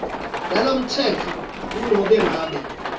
nalomtsetfo kunobe ngabe